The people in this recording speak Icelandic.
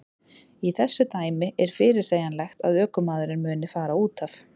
Í þessu dæmi er fyrirsegjanlegt að ökumaðurinn muni fara útaf.